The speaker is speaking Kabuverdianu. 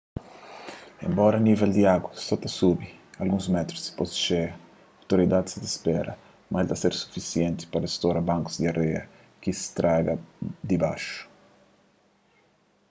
enbora nível di agu so ta subi alguns métrus dipôs di txeia outoridadis sa ta spera ma el ta ser sufisienti pa rastora bankus di areia ki straga di baxu